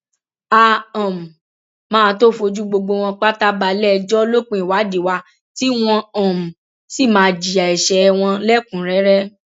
a um máa tóó fojú gbogbo wọn pátá balẹẹjọ lópin ìwádìí wa tí wọn um sì máa jìyà ẹsẹ ẹ wọnlẹkùnúnrẹrẹ